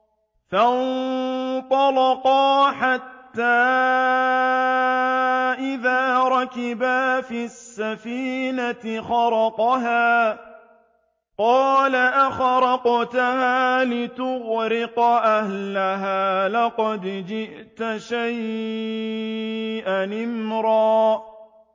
فَانطَلَقَا حَتَّىٰ إِذَا رَكِبَا فِي السَّفِينَةِ خَرَقَهَا ۖ قَالَ أَخَرَقْتَهَا لِتُغْرِقَ أَهْلَهَا لَقَدْ جِئْتَ شَيْئًا إِمْرًا